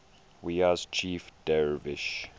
wiyas chief dervish